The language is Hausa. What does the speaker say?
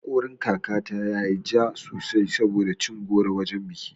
Haƙorin kaka ta yayi ja sosai saboda cin goro a wajan biki.